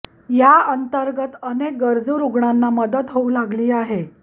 या अंतर्गत अनेक गरजू रुग्णांना मदत होऊ लागली आहे